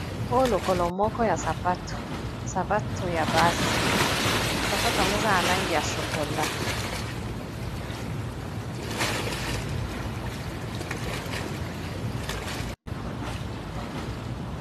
Oyo lokolo moko ya sapato, sapato ya basi sapato angwo eza na langi ya chokolat.